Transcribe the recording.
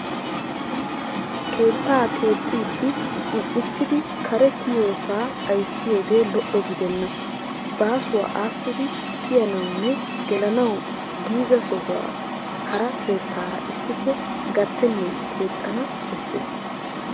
Keettaa keexxiiddi un'issidi kare kiyiyoosaa xayissiyoogee lo'o gidenna. Baasuwaa aassidi kiyanawunne gelanawu giiga sohuwan hara kettaara issippe gattennan keexxana besses.